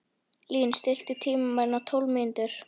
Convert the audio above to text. Lín, stilltu tímamælinn á tólf mínútur.